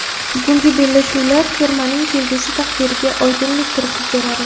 Bugungi bellashuvlar termaning kelgusi taqdiriga oydinlik kiritib beradi.